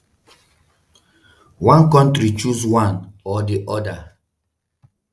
"one kontri choose one or di oda.